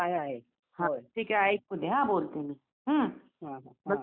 अ तिथे नाही का गावोगावी लोक येतात यात्रेला.